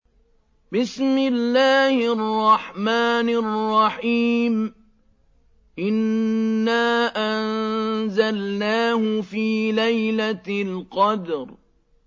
إِنَّا أَنزَلْنَاهُ فِي لَيْلَةِ الْقَدْرِ